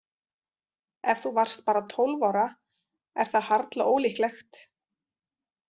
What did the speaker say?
Ef þú varst bara tólf ára er það harla ólíklegt.